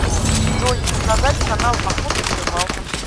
джой показать канал охота и рыбалка